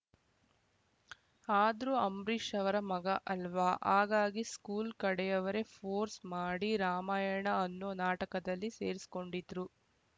ಆದ್ರೂ ಅಂಬರೀಷ್‌ ಅವರ ಮಗ ಅಲ್ವಾ ಹಾಗಾಗಿ ಸ್ಕೂಲ್‌ ಕಡೆಯವರೇ ಫೋರ್ಸ್‌ ಮಾಡಿ ರಾಮಾಯಣಅನ್ನೋ ನಾಟಕದಲ್ಲಿ ಸೇರಿಸ್ಕೊಂಡಿದ್ರು